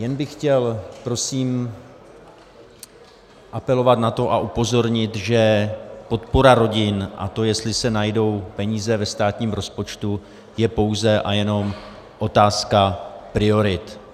Jen bych chtěl prosím apelovat na to a upozornit, že podpora rodin a to, jestli se najdou peníze ve státním rozpočtu, je pouze a jenom otázka priorit.